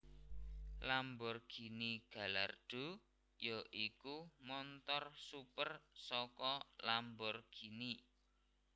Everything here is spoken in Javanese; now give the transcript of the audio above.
Lamborghini Gallardo ya iku montor super saka Lamborghini